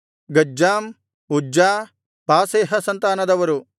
ಗಜ್ಜಾಮ್ ಉಜ್ಜ ಪಾಸೇಹ ಸಂತಾನದವರು